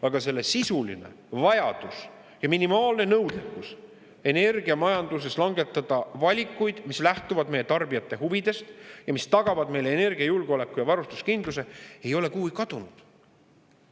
Aga selle sisuline vajadus ja minimaalne nõudekus energiamajanduses langetada valikuid, mis lähtuvad meie tarbijate huvidest ja mis tagavad meile energiajulgeoleku ja varustuskindluse, ei ole kuhugi kadunud.